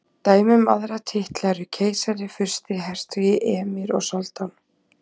Dæmi um aðra titla eru keisari, fursti, hertogi, emír og soldán.